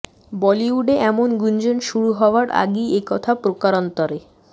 বলিউডে এমন গুঞ্জন শুরু হওয়ার আগেই এ কথা প্রকারান্তরে